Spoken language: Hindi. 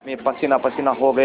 मैं पसीनापसीना हो गया